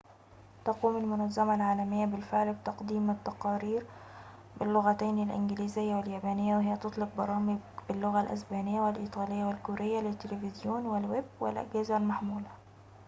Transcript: تقوم المنظمة العالمية بالفعل بتقديم التقارير باللغتين الإنجليزية واليابانية وهي تطلق برامج باللغة الإسبانية والإيطالية والكورية للتليفزيون والويب والأجهزة المحمولة